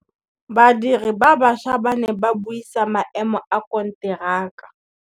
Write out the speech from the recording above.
Badiri ba baša ba ne ba buisa maêmô a konteraka.